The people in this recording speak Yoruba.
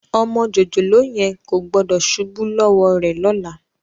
Ọmọ jòjòló yẹn kò gbọ́dọ̀ ṣubú lọ́wọ́ rẹ lọ́la